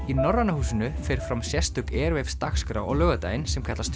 í Norræna húsinu fer fram sérstök dagskrá á laugardaginn sem kallast